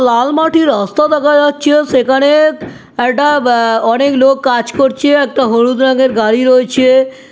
লাল মাটির রাস্তা দেখা যাচ্ছে সেখানে এটা বা অনেক লোক কাজ করছে। একটা হলুদ রং এর গাড়ি রয়েছে ।